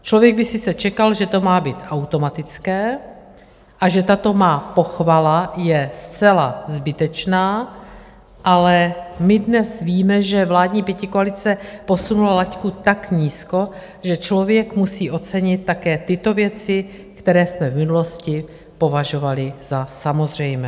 Člověk by sice čekal, že to má být automatické a že tato má pochvala je zcela zbytečná, ale my dnes víme, že vládní pětikoalice posunula laťku tak nízko, že člověk musí ocenit také tyto věci, které jsme v minulosti považovali za samozřejmé.